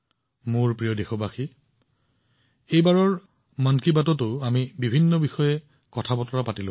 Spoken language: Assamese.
মোৰ মৰমৰ দেশবাসীসকল এইবাৰ মন কী বাতত আমি বহুতো বিষয়ত কথা পাতিলো